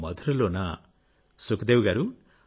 మధురలోనా సుఖదేవి గారూ